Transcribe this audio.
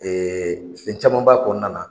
fɛn caman b'a kɔnɔna na.